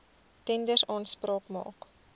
tenders aanspraak maak